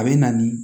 A bɛ na ni